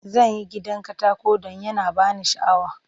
Zan yi gidan katako don yana ba ni sha'awa.